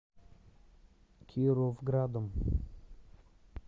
кировградом